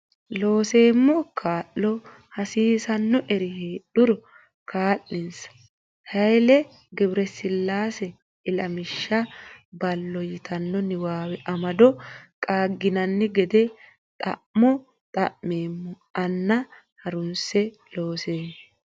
Looseemmo kaa lo hassiissannori heedhuro kaa linsa Hayle Gebresillaase ilamishsha ballo yitanno niwaawe amado qaagginanni gede xa mo xa meemmo anna ha runse Looseemmo.